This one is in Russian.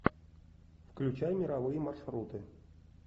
включай мировые маршруты